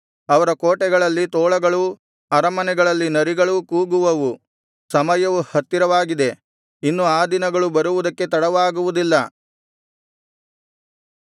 ಅವರ ಕೋಟೆಗಳಲ್ಲಿ ತೋಳಗಳೂ ಅರಮನೆಗಳಲ್ಲಿ ನರಿಗಳೂ ಕೂಗುವವು ಸಮಯವು ಹತ್ತಿರವಾಗಿದೆ ಇನ್ನು ಆ ದಿನಗಳು ಬರುವುದಕ್ಕೆ ತಡವಾಗುವುದಿಲ್ಲ